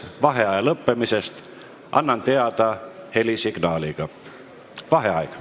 Vaheaja lõppemisest annan teada helisignaaliga.